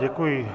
Děkuji.